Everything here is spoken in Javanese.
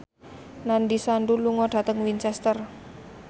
Nandish Sandhu lunga dhateng Winchester